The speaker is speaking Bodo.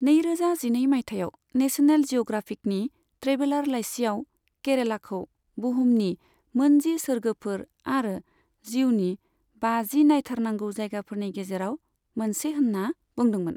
नैरोजा जिनै मायथाइयाव, नेशनेल जिअ'ग्राफिकनि ट्रेभेलार लायसियाव केरेलाखौ बुहुमनि मोनजि सोर्गोफोर आरो जिउनि बाजि नायथारनांगौ जायगाफोरनि गेजेराव मोनसे होन्ना बुंदोंमोन।